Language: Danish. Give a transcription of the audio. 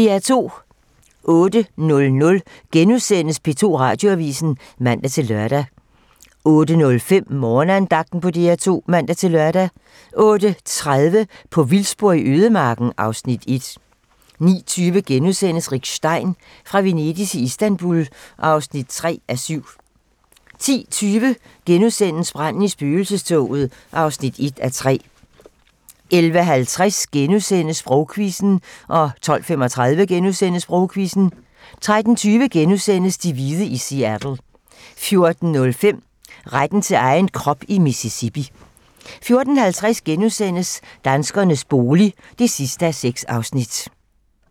08:00: P2 Radioavisen *(man-lør) 08:05: Morgenandagten på DR2 (man-lør) 08:30: På vildspor i ødemarken (Afs. 1) 09:20: Rick Stein: Fra Venedig til Istanbul (3:7)* 10:20: Branden i spøgelsestoget (1:3)* 11:50: Sprogquizzen * 12:35: Sprogquizzen * 13:20: De hvide i Seattle * 14:05: Retten til egen krop i Mississippi 14:50: Danskernes bolig (6:6)*